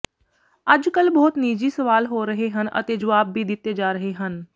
ਅੱਜਕਲ ਬਹੁਤ ਨਿੱਜੀ ਸਵਾਲ ਹੋ ਰਹੇ ਹਨ ਅਤੇ ਜਵਾਬ ਵੀ ਦਿੱਤੇ ਜਾ ਰਹੇ ਹਨ